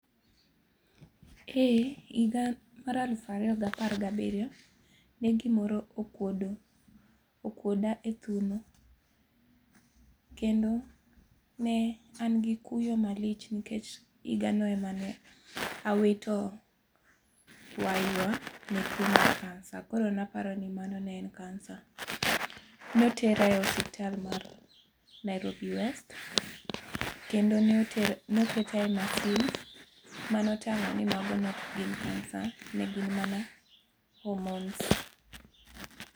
Eh ehiga mar alufu ariyo ga par gabiriyo ne gimoro okuodo okuoda e thuno kendo ne an gi kuyo malich nikech higano ema ne awito waywa gi tuo mar kansa. Kendo notera e osiptal mar Nairobi West kendo ne oter noketa e masin mane otang'o ni mago ne ok gin kansa, ne gin mana homones